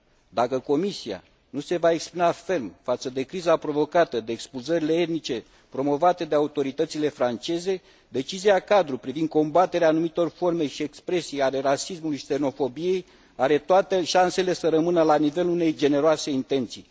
Dacă Comisia nu se va exprima ferm față de criza provocată de expulzările etnice promovate de autoritățile franceze, decizia cadru privind combaterea anumitor forme și expresii ale rasismului și xenofobiei are toate șansele să rămână la nivelul unei generoase intenții.